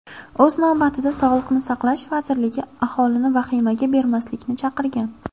O‘z navbatida Sog‘liqni saqlash vazirligi aholini vahimaga berilmaslikni chaqirgan.